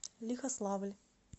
лихославль